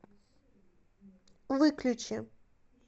выключи